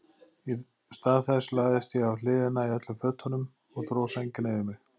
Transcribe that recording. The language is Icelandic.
Í stað þess lagðist ég á hliðina í öllum fötunum og dró sængina yfir mig.